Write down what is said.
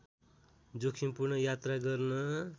जोखिमपूर्ण यात्रा गर्न